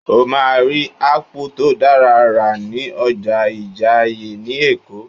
O máa rí Ápù tó dára rà ní ọjà Ìjàìyè ni Èkó